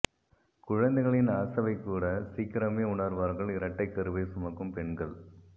குழந்தைகளின் அசைவைக் கூட சீக்கிரமே உணர்வார்கள் இரட்டைக் கருவைச் சுமக்கும் பெண்கள்